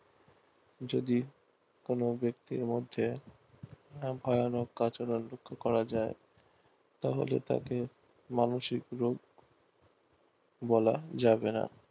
যদি কোনো ব্যাক্তির মধ্যে করা যায় তা বলে তাকে মানসিক রোগ বলা যাবে না